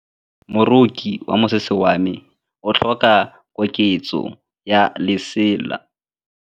Moroki wa mosese wa me o tlhoka koketsô ya lesela.